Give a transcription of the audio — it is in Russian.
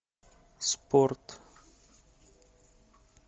спорт